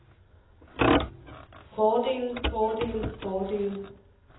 fordele fordele fordele